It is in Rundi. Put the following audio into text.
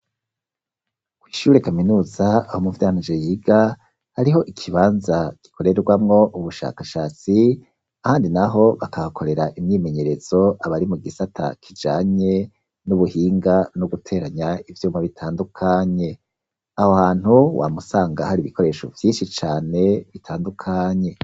Kwishure kaminuza aho muvyara wanje yiga hariho ikibanza gikoregwamwo ubushakashatsi kandi naho bakahakorera imyimenyerezo abari mugisata kijanye n'ubuhinga n'uguteranya ivyuma bitandukanye. Aho hantu wam'usanga har'ibikoresho vyinshi cane bitandukanye.